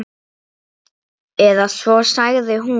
Eða svo sagði hún.